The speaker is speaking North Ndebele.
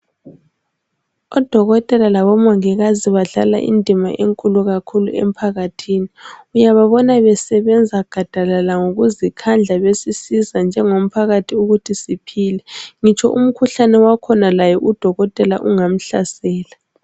Odokotela labomongikazi badlala indima enkulu emphakathini uyababona besebenza gadalala ngakuzikhandla besiisza njengomphakathi ukuthi siphile ngitsho umkhuhlane wakhona laye udokotela ungamhlasela